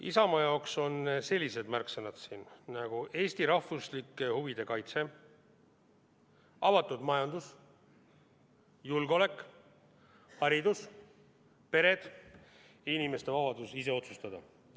Isamaa jaoks on siin sellised märksõnad nagu Eesti rahvuslike huvide kaitse, avatud majandus, julgeolek, haridus, pered ja inimeste vabadus ise otsustada.